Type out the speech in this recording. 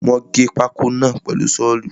Wọ́n gé pákó náà pẹ̀lú Ṣọ́ọ̀lù.